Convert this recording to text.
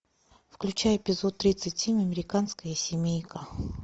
включай эпизод тридцать семь американская семейка